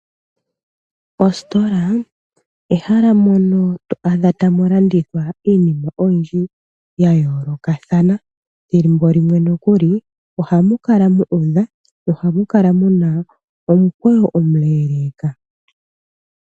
Oositola ehala mono to adha tamu landithwa iinima oyindji ya yoolokathana, ethimbo limwe nokuli ohamu kala mu udha, nohamu kala muna omukweyo omuleeleka.